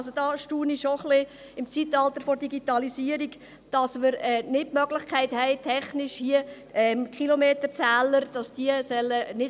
Also: Im Zeitalter der Digitalisierung erstaunt es mich schon etwas, dass wir nicht die technische Möglichkeit haben, den Kilometerzählern trauen zu können.